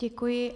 Děkuji.